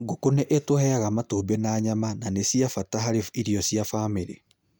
Ngũkũ nĩ itũheaga matumbĩ na nyama, na nĩ cia bata harĩ irio cia bamĩrĩ.